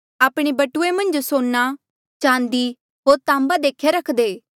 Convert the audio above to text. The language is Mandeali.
आपणे बटुऐ मन्झ सोना चाँदी होर ताम्बा देख्या रखदे